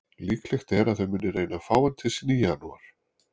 Líklegt er að þau muni reyna að fá hann til sín í janúar.